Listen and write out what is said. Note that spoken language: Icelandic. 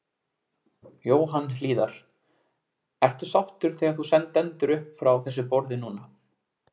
Jóhann Hlíðar: Ertu sáttur þegar þú stendur upp frá þessu borði núna?